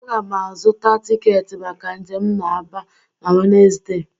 Aga m azụta tiketi maka njem m na Aba na Wenezde.